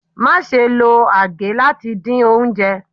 Máa ṣe lo agè láti dín oúnjẹ.